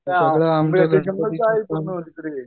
इकडे येईन.